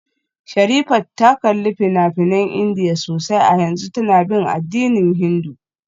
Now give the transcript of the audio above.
Sherifat ta kalli fina-finan Indiya sosai a yanzu tana bin addinin Hindu